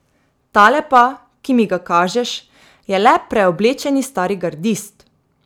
Tale pa, ki mi ga kažeš, je le preoblečeni stari gardist!